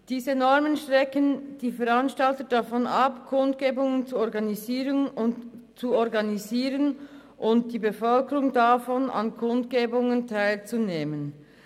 Diese Normen halten Veranstalter davon ab, Kundgebungen zu organisieren, und sie halten die Bevölkerung davon ab, an diesen teilzunehmen.